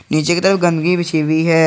नीचे के तरफ गंदगी बिछी हुई है।